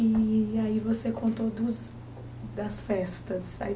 E aí você contou dos das festas. Aí